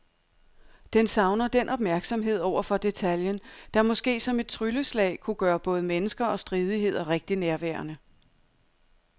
Den savner den opmærksomhed over for detaljen, der måske som et trylleslag kunne gøre både mennesker og stridigheder rigtig nærværende.